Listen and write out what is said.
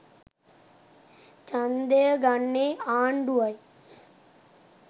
ඡන්දය ගන්නේ ආණ්ඩුවයි.